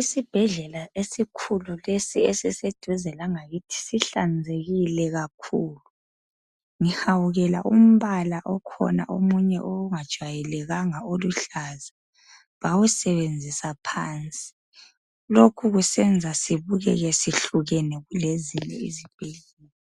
Isibhedlela esikhulu lesi esiseduze langakithi sihlanzekile kakhulu. Ngihawukela umbala okhona omunye ongajwayelekanga oluhlaza. Bawusebenzisa phansi. Lokhu kusenza sibukeke sihlukene kulezinye izibhedlela.